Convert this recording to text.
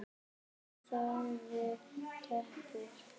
Hún þagði döpur.